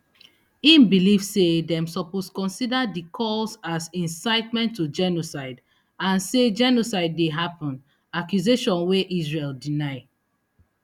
im believe say dem suppose consider di calls as incitement to genocide and say genocide dey happun accusation wey israel deny